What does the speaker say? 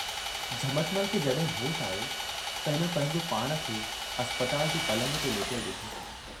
झमटमल खे जॾहिं होश आयो त हिन पंहिंजो पाण खे अस्पताल जे पलंग ते लेटयलु ॾिठो।